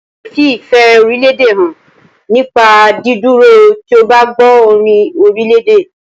A lè fi ìfẹ́ orílédè hàn nípa dídúró tí o bá gbọ́ orin orílèdè.